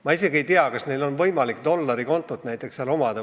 Ma isegi ei tea, kas neil on võimalik seal näiteks dollarikontot omada.